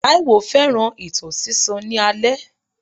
Taiwo fẹ́ràn ìtàn sísọ ní alẹ́.